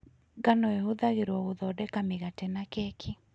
Ngano ĩhũthagĩrũo gũthondeka mĩgate na keki.